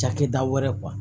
Cakɛda wɛrɛ